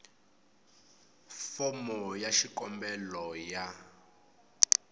fomo ya xikombelo ya